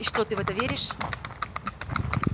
и что ты в это веришь